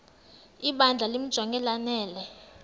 ibandla limjonge lanele